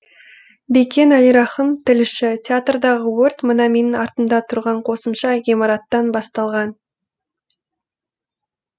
бекен әлирахым тілші театрдағы өрт мына менің артымда тұрған қосымша ғимараттан басталған